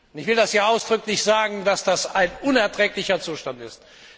Ich will hier ausdrücklich sagen, dass das ein unerträglicher Zustand ist.